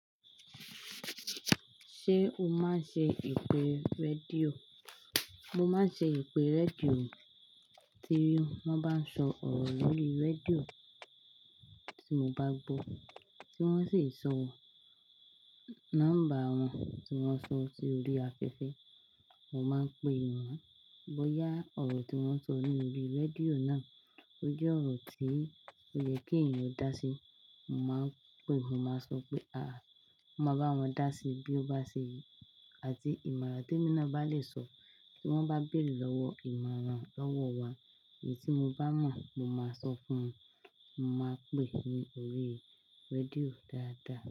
Ṣé o máa ń ṣe ìpè rédíò? Mo máa ń ṣe ìpè rédíò, tí wọ́n bá ń sọ ọ̀rọ̀ lórí rédíò tí mo bá gbọ́, tí wọ́n sì ń sọ nọ́mbà wọn, tí wọ́n sọ sí orí afẹ́fẹ́, mo máa ń pè wọ́n. Bóyá ọ̀rọ̀ tí wọ́n sọ ní orí rédíò náà ó jẹ́ ọ̀rọ̀ tí kò yẹ kí ènìyàn dá sí, mo máa ń pè wọ́n, máa sọ pé "à, má bá wọn dá sí bí ó bá ṣe yìí." Àti ìmọ̀ràn te mi no bá lè sọ tí wọ́n bá béèrè lowo ìmọ̀ràn lọ́wọ́ wa, èyí tí mo bá mọ̀, mo máa sọ fún un. Mo máa ń pè ní orí rédíò dáadáa.